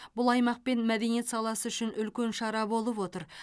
бұл аймақ пен мәдениет саласы үшін үлкен шара болып отыр